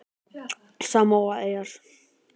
Samóaeyjar